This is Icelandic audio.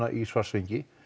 í Svartsengi